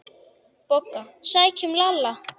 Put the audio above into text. BOGGA: Sækjum Lalla!